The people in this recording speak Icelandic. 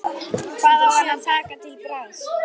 Hvað á hann að taka til bragðs?